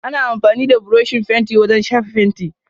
Ana amfani da buroshi fenti wajen shafa fenti.